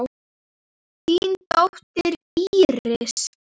Þín dóttir, Íris.